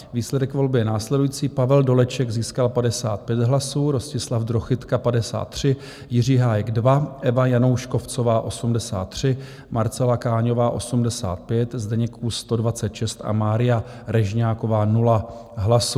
Výsledek volby je následující: Pavel Doleček získal 55 hlasů, Rostislav Drochytka 53, Jiří Hájek 2, Eva Janouškovcová 83, Marcela Káňová 85, Zdeněk Kůs 126 a Mária Režňáková 0 hlasů.